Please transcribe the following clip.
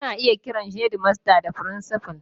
Ana iya kiran shedimasta da frincifal.